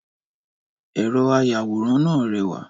Ẹ̀rọ àyawòran náà rẹwà